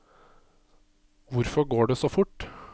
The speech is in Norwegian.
Hvorfor går det så fort?